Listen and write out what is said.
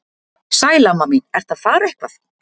Sæl amma mín, ertu að fara eitthvað?